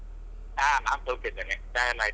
ಹಾ ನಾನ್ ಸೌಖ್ಯ ಇದ್ದೇನೆ ಚಾ ಎಲ್ಲ ಆಯ್ತಾ?